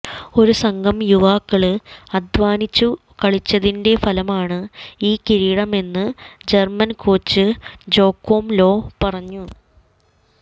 ഒരു സംഘം യുവാക്കള് അധ്വാനിച്ചു കളിച്ചതിന്റെ ഫലമാണ് ഈ കിരീടമെന്ന് ജര്മന് കോച്ച് ജോക്വം ലോ പറഞ്ഞു